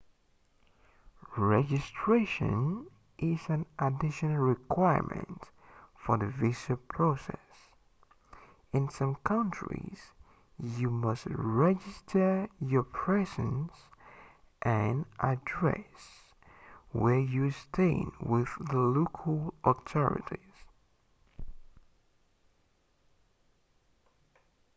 registration is an additional requirement for the visa process in some countries you must register your presence and address where you are staying with the local authorities